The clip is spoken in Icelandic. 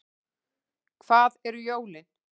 Hvað eru jólin